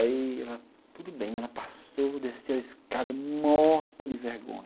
Aí ela, tudo bem, ela passou, desceu a escada, morta de vergonha.